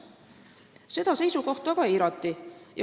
Seda seisukohta aga eirati.